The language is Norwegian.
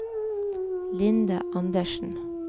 Linda Anderssen